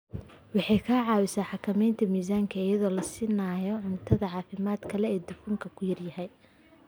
Waxay ka caawisaa xakamaynta miisaanka iyadoo la siinayo cunto caafimaad leh oo dufanku ku yar yahay.